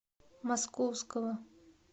московского